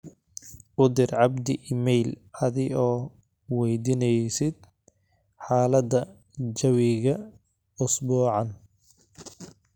u dir abdi iimayl adi oo waydinaysid xalaada jawiga usbuucaan